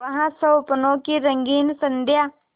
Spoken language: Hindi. वह स्वप्नों की रंगीन संध्या